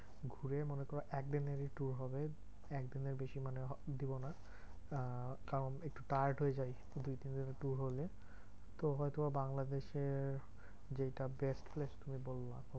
ঘুরে মনে কর একদিনেরই tour হবে, একদিনের বেশি মানে দেবোনা। আহ কারণ একটু tired হয়ে যাই দুই তিনদিনের tour হলে তো হয়তো বা বাংলাদেশের যেইটা best place তুমি বলবা।